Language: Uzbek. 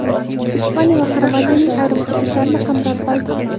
Ispaniya va Xorvatiyaning ayrim hududlarini qamrab oldi.